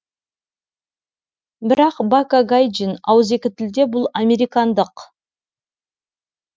бірақ бака гайджин ауызекі тілде бұл американдық